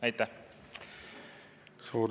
Aitäh!